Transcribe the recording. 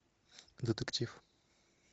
детектив